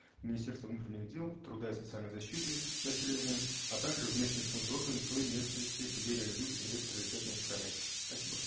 министерства внутренних дел труда и социальной защиты населения а также в местные исполнительные органы той местности где реализуется инвест приоритетный проект спасибо